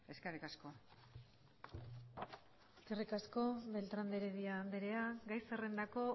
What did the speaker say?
eskerrik asko eskerrik asko beltrán de heredia andrea gai zerrendako